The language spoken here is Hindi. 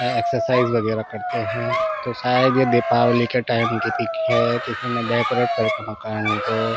यहाँ एक्सरसाइज वगैरा करते है तो शायद ये दीपावली की टाईम की पिक है किसीने डेकोरेट करके मकान को--